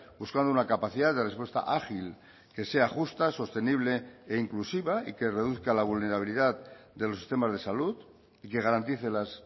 buscando una capacidad de respuesta ágil que sea justa sostenible e inclusiva y que reduzca la vulnerabilidad de los sistemas de salud y que garantice las